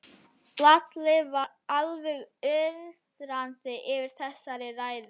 Lalli var alveg undrandi yfir þessari ræðu.